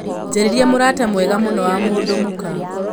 njararĩa mũrata mwega mũno wa mũndũ mũka